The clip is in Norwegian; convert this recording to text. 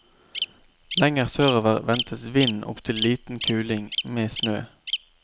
Lenger sørover ventes vind opptil liten kuling, med snø.